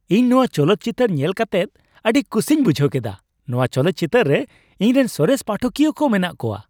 ᱤᱧ ᱱᱚᱶᱟ ᱪᱚᱞᱚᱛ ᱪᱤᱛᱟᱹᱨ ᱧᱮᱞ ᱠᱟᱛᱮᱫ ᱟᱹᱰᱤ ᱠᱩᱥᱤᱧ ᱵᱩᱡᱷ ᱠᱮᱫᱟ ᱾ ᱱᱚᱶᱟ ᱪᱚᱞᱚᱛ ᱪᱤᱛᱟᱹᱨ ᱨᱮ ᱤᱧᱨᱮᱱ ᱥᱚᱨᱮᱥ ᱯᱟᱴᱷᱚᱠᱤᱭᱟᱹ ᱠᱚ ᱢᱮᱱᱟᱜ ᱠᱚᱣᱟ ᱾